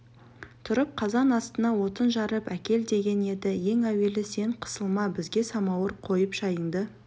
тұрып қазан астына отын жарып әкел деген еді ең әуелі сен қысылма бізге самауыр қойып шайыңды